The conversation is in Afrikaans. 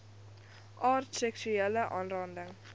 aard seksuele aanranding